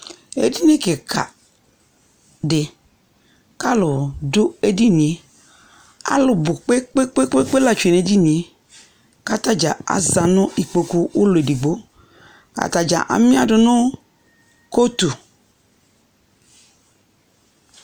Edini kɩka dɩ , k'alʋ dʋ edinie; alʋ bʋ kpekpekpekpe la tsue nʋ edinie; k'atadza aza nʋ ikpoku ulu edigbo Atadza amɩadʋ nʋ kotu